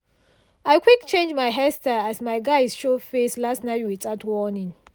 i quick change my hair style as my guys show face last night without warning.